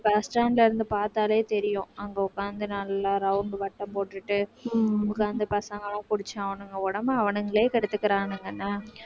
உம்